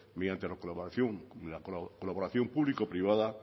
mediante la colaboración público privada